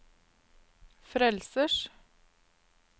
frelsers